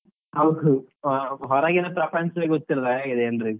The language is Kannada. ಹೌದು ಹಾ ಹೊರಗಿನ ಪ್ರಪಂಚವೇ ಗೊತ್ತಿಲ್ಲ ಹಾಗಿದೆ ಎಲ್ರಿಗು.